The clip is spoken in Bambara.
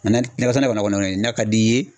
Mɛ nakɔ sɛnɛ kɔni n'a ka d'i ye